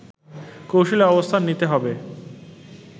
কৌশলী অবস্থান নিতে হবে